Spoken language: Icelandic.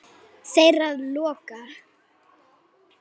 Þeirra lokað.